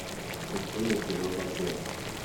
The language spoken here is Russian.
включи мне кино бордель